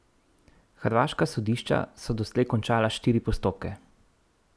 Hrvaška sodišča so doslej končala štiri postopke.